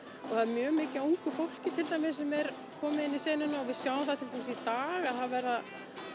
og það er mjög mikið af ungu fólki til dæmis sem er komið inn í senuna og við sjáum það til dæmis í dag að það verða